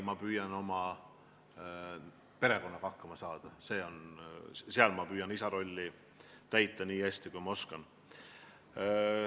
Ma püüan oma perekonnaga hakkama saada, seal ma püüan isa rolli täita nii hästi, kui ma oskan.